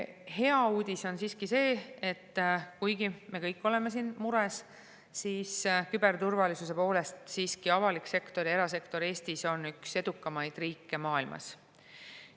Hea uudis on see, et kuigi me kõik oleme siin mures, on Eesti küberturvalisuse poolest nii avalikus kui ka erasektoris siiski üks edukamaid riike maailmas.